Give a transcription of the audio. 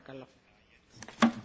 Pani przewodnicząca!